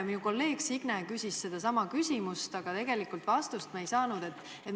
Minu kolleeg Signe küsis sedasama, aga vastust me tegelikult ei saanud.